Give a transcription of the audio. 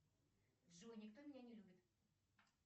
джой никто меня не любит